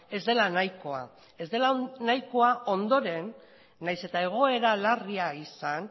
ez dela nahikoa ez dela nahikoa ondoren nahiz eta egoera larria izan